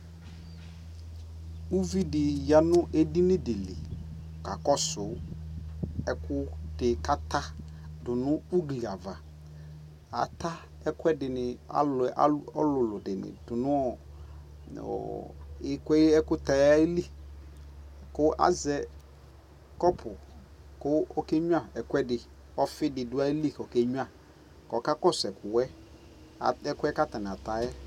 ɛmɛ ɔwʋ lʋ ɛna wʋ dinibi yɛli nʋ katikpɔnɛ aɣa kʋ ɛƒʋ wani ɛdi anyama dʋ,katikpɔnɛ ɛdi anyama dʋ kʋ alʋɛdini ɛkʋtɛ dini bimanʋ ʋnɛ ayɛtʋ kʋ ʋnɛ ama ɛƒʋ ɛla